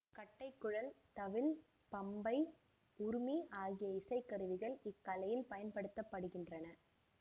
கட்டைக்குழல் தவில் பம்பை உறுமி ஆகிய இசைக்கருவிகள் இக்கலையில் பயன்படுத்த படுகின்றன